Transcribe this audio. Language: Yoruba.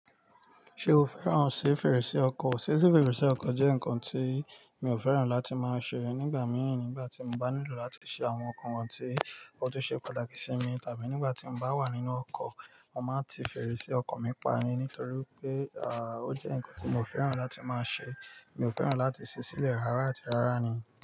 Ṣé o fẹ́ràn ṣe fèrèsé ọkọ̀? Sese fèrèsé ọkọ̀ jẹ́ nǹkan tí mi ò fẹ́ràn láti máa ṣe nígbà míì ni ìgbà tí mo bá nílò láti ṣe àwọn nǹkan wọ́n tí ó tún ṣe pàtàkì sí mi tàbí nígbà tí mo bá wà nínú ọkọ̀, mo máa ti fèrèsé ọkọ̀ mi pani nítorí pé, à, ó jẹ́ ǹkan tí mo fẹ́ràn láti máa ṣe. Mi ò fẹ́ràn láti sí sílẹ̀ rárá àti rárá ni.